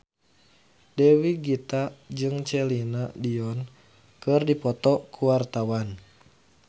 Dewi Gita jeung Celine Dion keur dipoto ku wartawan